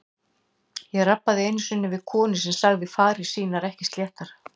Ég rabbaði einu sinni við konu sem sagði farir sínar ekki sléttar.